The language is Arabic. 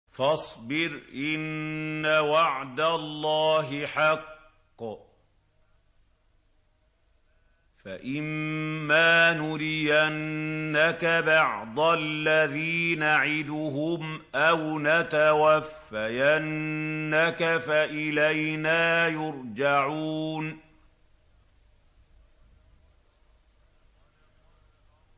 فَاصْبِرْ إِنَّ وَعْدَ اللَّهِ حَقٌّ ۚ فَإِمَّا نُرِيَنَّكَ بَعْضَ الَّذِي نَعِدُهُمْ أَوْ نَتَوَفَّيَنَّكَ فَإِلَيْنَا يُرْجَعُونَ